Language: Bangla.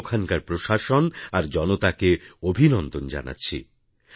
আমি ওখানকার প্রশাসন আর জনতাকে অভিনন্দন জানাচ্ছি